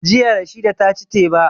Jiya Rashida ta ci teba